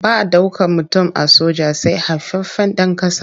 Ba ɗaukan mutum a soja sai haifaffen ɗan ƙasa.